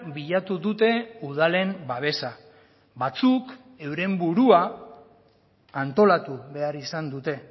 bilatu dute udalen babesa batzuk euren burua antolatu behar izan dute